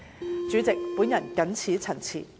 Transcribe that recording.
代理主席，我謹此陳辭。